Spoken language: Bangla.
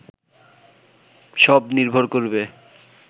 সব নির্ভর করবে